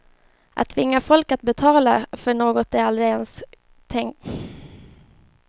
Att tvinga folk att betala för något de aldrig ens tänkt göra kan inte vara det bästa sättet att stödja kulturlivet.